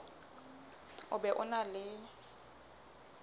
o be o na le